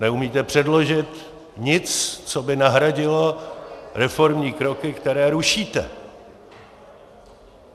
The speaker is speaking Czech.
Neumíte předložit nic, co by nahradilo reformní kroky, které rušíte.